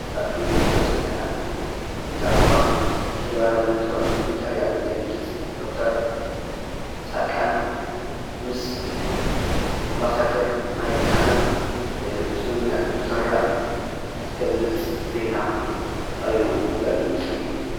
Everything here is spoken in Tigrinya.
ኣብ እንርእዮ ዘለና ብዛዕባ ተግባራዊነት ውዕል ፕሪቶርያ ዝገልፅ ዶ/ር ፃድቃን ምስ ኣምባሳደር ማይክሃመር ስምምዕ ፕሮቶርያ ዝገልፅ ዜና ቀሪቡ ዘርኢ ምስሊ እዩ።